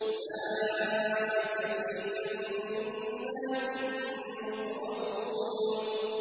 أُولَٰئِكَ فِي جَنَّاتٍ مُّكْرَمُونَ